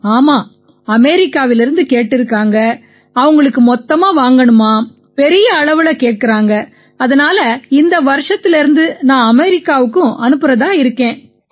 ஆமாம் அமெரிக்காவிலிருந்து கேட்டிருக்காங்க அவங்களுக்கு மொத்தமா வாங்கணுமாம் பெரிய அளவுல கேட்கறாங்க அதனால இந்த வருஷத்திலேர்ந்து நான் அமெரிக்காவுக்கும் அனுப்பறதா இருக்கேன்